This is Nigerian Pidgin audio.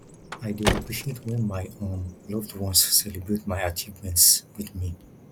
i dey appreciate when my um loved ones celebrate my achievements with me